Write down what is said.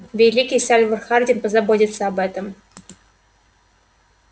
великий сальвор хардин позаботился об этом